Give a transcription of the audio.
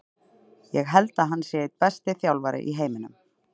Ég held að hann sé einn besti þjálfari í heiminum.